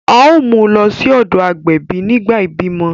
A o mu lọ sí ọdọ agbẹbi nígbà ibimọ